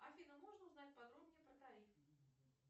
афина можно узнать подробнее про тариф